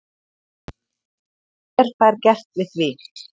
Og hver fær gert við því?